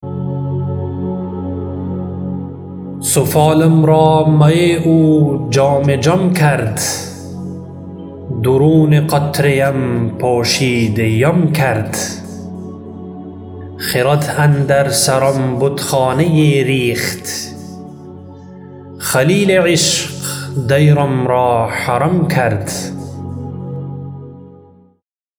سفالم را می او جام جم کرد درون قطره ام پوشیده یم کرد خرد اندر سرم بتخانه یی ریخت خلیل عشق دیرم را حرم کرد